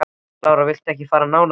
Lára: Viltu ekki fara nánar út í það?